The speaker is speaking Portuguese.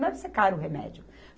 Não deve ser caro o remédio.